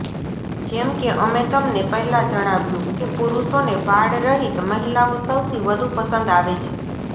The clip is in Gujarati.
જેમ કે અમે તમને પહેલાં જણાવ્યું કે પુરૂષોને વાળરહિત મહિલાઓ સૌથી વધુ પસંદ આવે છે